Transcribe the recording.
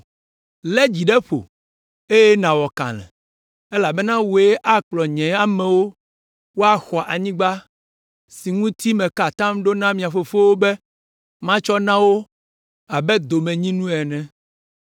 “Lé dzi ɖe ƒo, eye nàwɔ kalẽ, elabena wòe akplɔ nye amewo woaxɔ anyigba si ŋuti meka atam ɖo na mia fofowo be matsɔ na wo abe domenyinu ene.